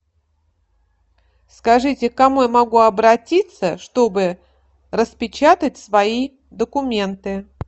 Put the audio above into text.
скажите к кому я могу обратиться чтобы распечатать свои документы